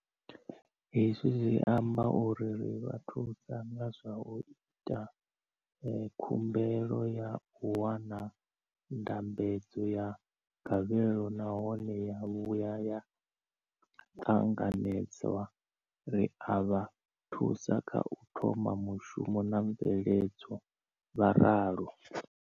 Hezwi zwi amba uri ri vha thusa nga zwa u ita khumbelo ya u wana ndambedzo ya gavhelo nahone ya vhuya ya ṱanganedzwa, ri a vha thusa kha u thoma mushumo na mveledzo, vho ralo.